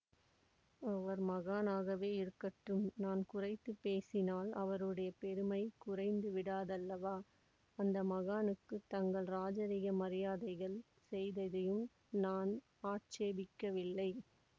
அவர் மகானாகவேயிருக்கட்டும் நான் குறைத்துப் பேசினால் அவருடைய பெருமை குறைந்துவிடாதல்லவா அந்த மகானுக்குத் தங்கள் இராஜரீக மரியாதைகள் செய்ததையும் நான் ஆட்சேபிக்கவில்லை